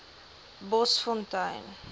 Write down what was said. bosfontein